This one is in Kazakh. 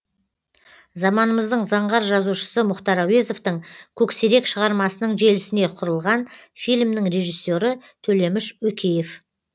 заманымыздың заңғар жазушысы мұхтар әуезовтың көксерек шығармасының желісіне құрылған фильмнің режиссері төлеміш өкеев